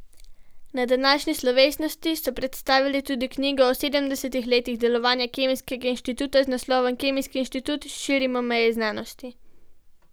Na današnji slovesnosti so predstavili tudi knjigo o sedemdesetih letih delovanja Kemijskega inštituta z naslovom Kemijski inštitut, širimo meje znanosti.